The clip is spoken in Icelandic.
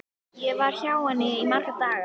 Ég var hjá henni í marga daga.